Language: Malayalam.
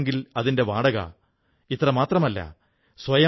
ഇവർ 5000 പുസ്തകങ്ങളും 140 ലധികം പത്രികകളും മാഗസിനുകളും ലഭ്യമാക്കുന്നു